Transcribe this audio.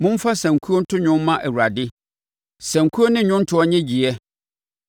Momfa sankuo nto dwom mma Awurade, sankuo ne nnwontoɔ nnyegyeɛ,